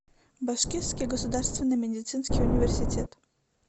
башкирский государственный медицинский университет